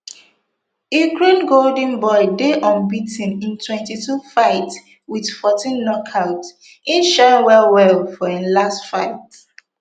ukraine golden boy dey unbea ten in twenty-two fights wit fourteen knockouts im shine wellwell for im last fight